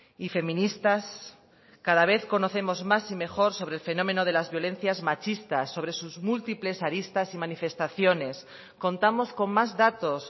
y feministas cada vez conocemos más y mejor sobre el fenómeno de las violencias machistas sobre sus múltiples aristas y manifestaciones contamos con más datos